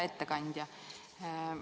Hea ettekandja!